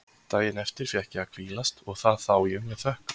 Daginn eftir fékk ég að hvílast og það þá ég með þökkum.